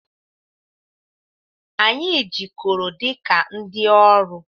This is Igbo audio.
Anyị jikọrọ dị ka ndị ọrụ.